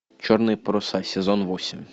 черные паруса сезон восемь